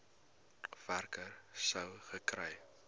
werker sou gekry